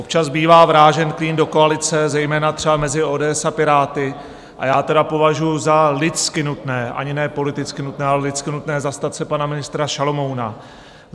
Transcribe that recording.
Občas bývá vrážen klín do koalice, zejména třeba mezi ODS a Piráty, a já tedy považuji za lidsky nutné, ani ne politicky nutné, ale lidsky nutné zastat se pana ministra Šalomouna.